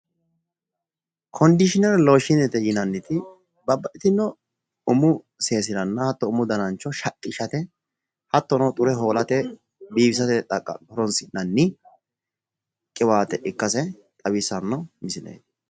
Kondiishinere looshiinete yinanniti babbaxxitinno umu sesiranna hattono umu danacho shaqqishate hattono xure hoolate biifisate horonsi'nanni qiwaate ikkase xawissanno misileeti